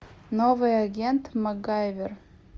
новый агент макгайвер